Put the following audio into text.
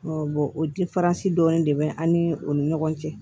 o dɔɔnin de bɛ an ni olu ɲɔgɔn cɛ